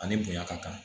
Ani bonya ka kan